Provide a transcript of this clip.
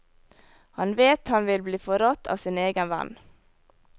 Han vet han vil bli forrådt av sin egen venn.